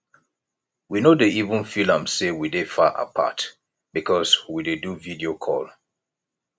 we no dey even feel am sey we dey far apart because we dey do video call